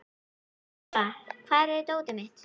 Þeba, hvar er dótið mitt?